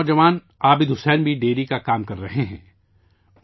ایک اور نوجوان عابد حسین بھی ڈیری کا کام کر رہے ہیں